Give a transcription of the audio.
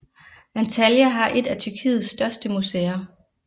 Antalya har et af Tyrkiets største museer